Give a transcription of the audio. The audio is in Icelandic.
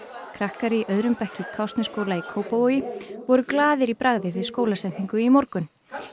krakkar í öðrum bekk í Kársnesskóla í Kópavogi voru glaðir í bragði við skólasetningu í morgun